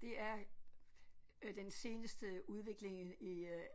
Det er øh den seneste udvikling i i øh